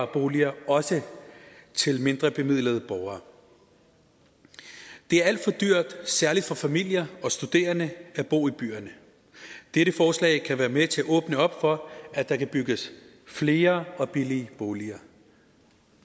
boliger også til mindrebemidlede borgere det er alt for dyrt særlig for familier og studerende at bo i byerne dette forslag kan være med til at åbne op for at der kan bygges flere og billige boliger